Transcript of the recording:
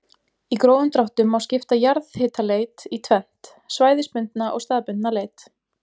Í grófum dráttum má skipta jarðhitaleit í tvennt, svæðisbundna og staðbundna leit.